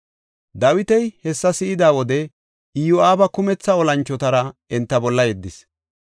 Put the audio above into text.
Dawiti hessa si7ida wode Iyo7aaba kumetha olanchotara enta bolla yeddis.